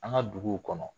An ka duguw kɔnɔ